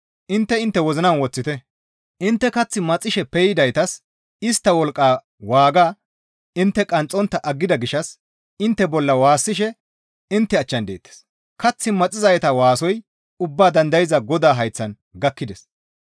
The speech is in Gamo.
Intte intte wozinan woththite; intte kath maxishe peydaytas istta wolqqa waagaa intte qanxxontta aggida gishshas intte bolla waassishe intte achchan deettes. Kath maxizayta waasoy ubba dandayza Godaa hayththan gakkides.